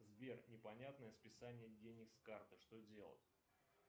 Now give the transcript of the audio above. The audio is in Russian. сбер непонятное списание денег с карты что делать